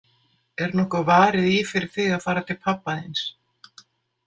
Er nokkuð varið í fyrir þig að fara til pabba þíns?